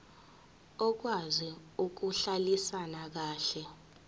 okwazi ukuhlalisana kahle